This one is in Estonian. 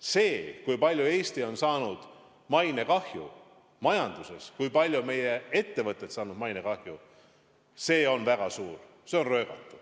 See, kui palju Eesti on saanud mainekahju majanduses, kui palju meie ettevõtted on saanud mainekahju, on väga suur, see on röögatu.